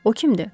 O kimdir?